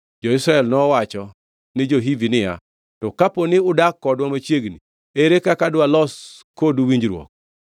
Jo-Israel nowacho ni jo-Hivi niya, “To ka dipo ni udak kodwa machiegni, ere kaka dwa los kodu winjruok?”